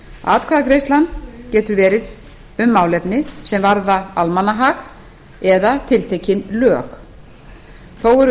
atkvæðagreiðslan getur verið um málefni sem varða almannahag eða tiltekin lög þó eru